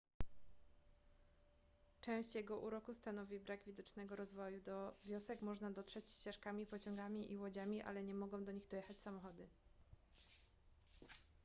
część jego uroku stanowi brak widocznego rozwoju do wiosek można dotrzeć ścieżkami pociągami i łodziami ale nie mogą do nich dojechać samochody